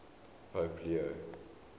pope leo